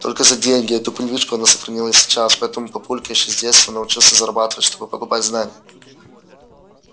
только за деньги эту привычку она сохранила и сейчас поэтому папулька ещё с детства научился зарабатывать чтобы покупать знания